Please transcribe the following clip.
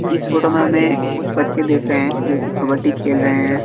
इस फोटो में हमें कुछ बच्चे दिख रहे हैं जो की कबड्डी खेल रहे हैं।